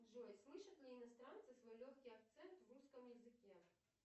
джой слышат ли иностранцы свой легкий акцент в русском языке